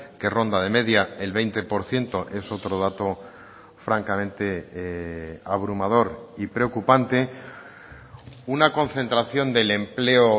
que ronda de media el veinte por ciento es otro dato francamente abrumador y preocupante una concentración del empleo